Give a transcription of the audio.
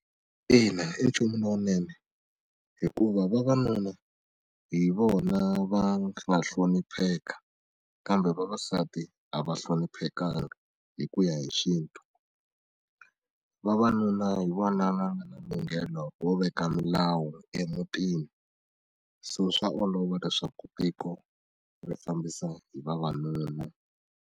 Ina, i nchumu lowunene hikuva vavanuna hi vona va nga hlonipheka kambe vavasati a va hloniphekanga hi ku ya hi xintu vavanuna hi vona va nga na lunghelo ro veka milawu emutini so swa olova leswaku tiko ri fambisa hi vavanuna.